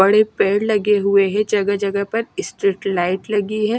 बड़े पेड़ लगे हुए हैं जगह-जगह पर स्ट्रीट लाइट लगी है।